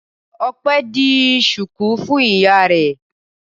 Ọpẹ́ di ṣùkú fún ìyá rẹ̀.